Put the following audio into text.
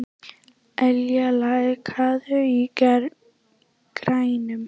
Ylja, lækkaðu í græjunum.